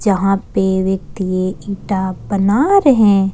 वहां पे व्यक्ति एक ईंटा बना रहे हैं।